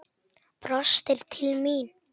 Brostir til mín.